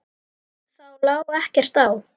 Þá lá ekkert á.